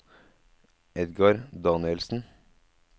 Edgar Danielsen